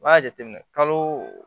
N b'a jateminɛ kalo